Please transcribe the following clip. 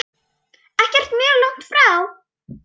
Ekkert mjög langt frá.